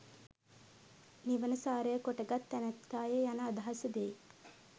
නිවන සාරය කොටගත් තැනැත්තාය යන අදහස දෙයි.